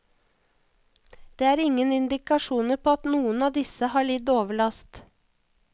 Det er ingen indikasjoner på at noen av disse har lidd overlast.